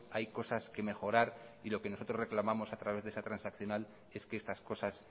hay cosas que mejorar y lo que nosotros reclamamos a través de esa transaccional es que estas cosas